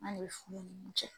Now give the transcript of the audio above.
An' de be furu nun cɛ.